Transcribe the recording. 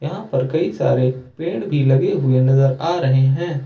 यहां पर कई सारे पेड़ भी लगे हुए नजर आ रहे हैं।